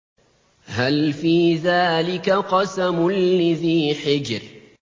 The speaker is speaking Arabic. هَلْ فِي ذَٰلِكَ قَسَمٌ لِّذِي حِجْرٍ